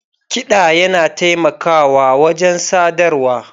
Kiɗa yana taimakawa wajen sadarwa